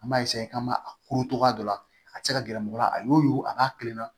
An b'a k'an m'a kuru cogoya dɔ la a tɛ se ka gɛrɛ mɔgɔ la a y'o a b'a kilenna